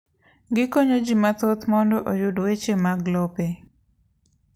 Gikonyo ji mathoth mondo oyud weche mag lope.